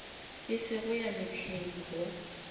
e sego ya mehleng go